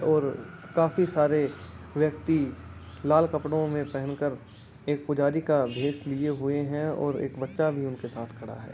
और काफी सारे व्यक्ति लाल कपड़ो में पहनकर एक पुजारी का भेष लिए हुए हैं और एक बच्चा भी उनके साथ खड़ा है।